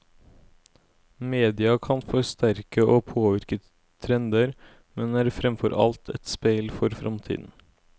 Media kan forsterke og påvirke trender, men er fremfor alt et speil for fremtiden.